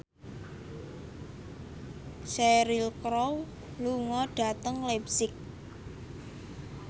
Cheryl Crow lunga dhateng leipzig